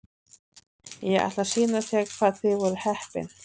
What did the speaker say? Ég ætla að sýna þér hvað þið voruð heppin.